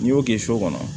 N'i y'o kɛ so kɔnɔ